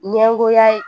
Ɲɛngoya ye